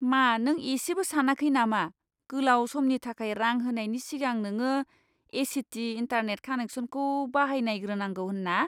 मा नों इसेबो सानाखै नामा गोलाव समनि थाखाय रां होनायनि सिगां नोङो ए.सि.टि. इन्टारनेट कानेक्शनखौ बाहायनायग्रोनांगौ होन्ना?